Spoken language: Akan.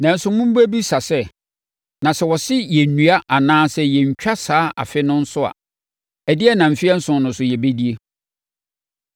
Nanso, mobɛbisa sɛ, “Na sɛ wɔse yɛnnnua anaa yɛnntwa saa afe no so a, ɛdeɛn na mfeɛ nson no so yɛbɛdie?”